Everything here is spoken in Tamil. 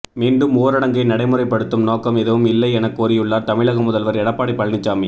மீண்டும் ஊரடங்கை நடைமுறைப்படுத்தும் நோக்கம் எதுவும் இல்லை எனக் கூறியுள்ளார் தமிழக முதல்வர் எடப்பாடி பழனிசாமி